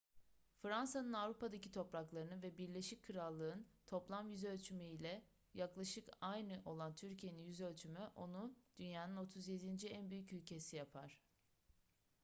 fransa'nın avrupa'daki topraklarının ve birleşik krallık'ın toplam yüzölçümü ile yaklaşık aynı olan türkiye'nin yüzölçümü onu dünyanın 37. en büyük ülkesi yapar